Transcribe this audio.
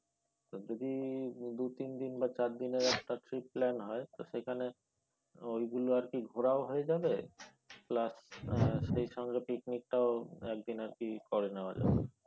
যদি দু-তিন দিন বা চার দিনের একটা trip plan হয় সেইখানে ওইগুলো আর কি ঘোরা ও হয়ে যাবে plus সেই সঙ্গে পিকনিকটাও একদিন আর কি করে নেওয়া যাবে।